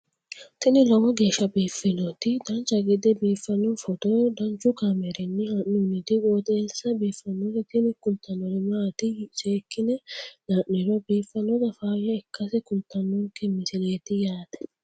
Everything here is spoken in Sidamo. tini lowo geeshsha biiffannoti dancha gede biiffanno footo danchu kaameerinni haa'noonniti qooxeessa biiffannoti tini kultannori maatiro seekkine la'niro biiffannota faayya ikkase kultannoke misileeti yaate